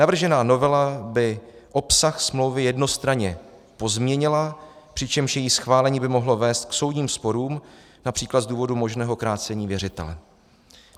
Navržená novela by obsah smlouvy jednostranně pozměnila, přičemž její schválení by mohlo vést k soudním sporům například z důvodu možného krácení věřitele.